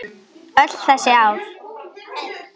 Öll þessi ár.